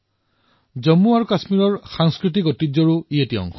ই জম্মুকাশ্মীৰৰ সমৃদ্ধ সাংস্কৃতিক ঐতিহ্যক প্ৰতিনিধিত্ব কৰে